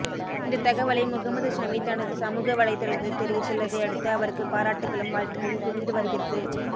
இந்த தகவலை முகமது ஷமி தனது சமூக வலைத்தளத்தில் தெரிவித்துள்ளதை அடுத்து அவருக்கு பாராட்டுக்களும் வாழ்த்துக்களும் குவிந்து வருகிறது